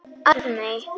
Arney